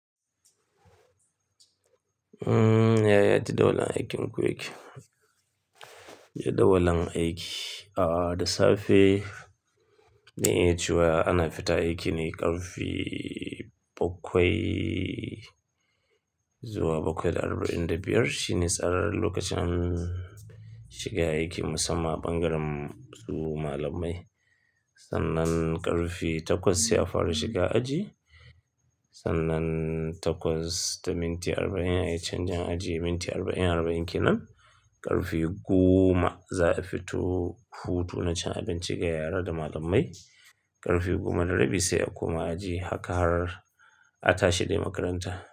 Umm, ya, ya ji da wulan aikin quick. Ji da wulan aiki, ahh, da safe ne a cewa ana fita aiki ne ƙarfi bakwai zuwa bakwai da arba'in da biyar. Shi ne tsarar lokacin shiga aiki musamman bangaren su malamai. Sannan ƙarfi takwas sai a fara shiga aji. Sannan takwas da minti arba'in a yi canjin aji, minti arba'in arba'in ke nan. Ƙarfi goma za a fito hutu na cin abinci ga yara da malamai. Ƙarfi goma da rabi sai a koma aji. Haka har a tashi dai makaranta.